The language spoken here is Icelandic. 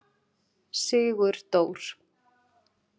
Sigurdór